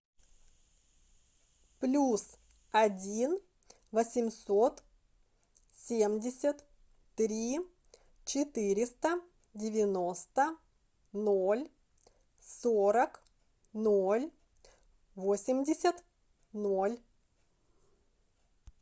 плюс один восемьсот семьдесят три четыреста девяносто ноль сорок ноль восемьдесят ноль